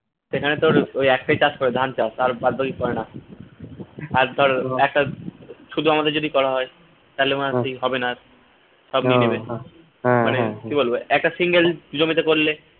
সেখানে তোর ওই একটাই চাষ করে ধান চাষ আর বাদবাকি করে না আর তোর একটা শুধু আমাদের যদি করা হয় হবে না আর মানে একা single জমিতে করলে